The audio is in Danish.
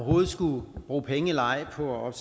overhovedet skulle bruge penge eller ej på at